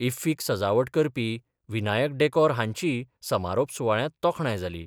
इफ्फीक सजावट करपी विनायक डॅकोर हांचीय समारोप सुवाळ्यांत तोखणाय जाली.